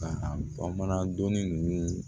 Ka a mana donni ninnu